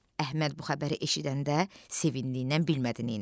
Əhməd bu xəbəri eşidəndə sevincindən bilmədi neyləsin.